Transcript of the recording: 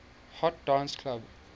hot dance club